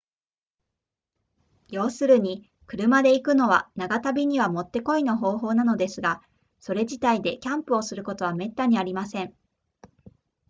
要するに車で行くのは長旅にはもってこいの方法なのですがそれ自体でキャンプをすることはめったにありません